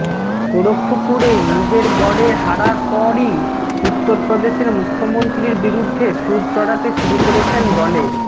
গোরক্ষপুরে নিজের গড়ে হারার পরই উত্তরপ্রদেশের মুখ্যমন্ত্রীর বিরুদ্ধে সুর চড়াতে শুরু করেছেন দলে